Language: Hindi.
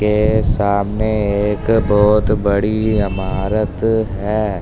यह सामने एक बहुत बड़ी इमारत है।